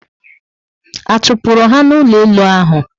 A chupuru ha na ụlọ elu ahụ?